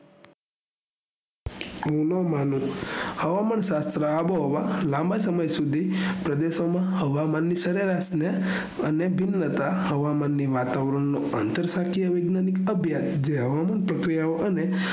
રુલો માલુ હવામાન શાસ્ત્ર આબોહવા લાંબા સમય સુઘી પ્રદેશો માં હવામાન ની સરેરાશ ને અન્ય દિન જતા હવામાનની વાતાવરણ નો આંતર સા કીય વિજ્ઞાનિક અઘ્યાય જે હવામાન પ્રકિયા અને